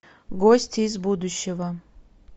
гости из будущего